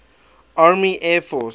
army air force